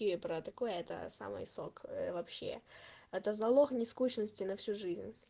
и про такое это самый сок вообще это залог не скучности на всю жизнь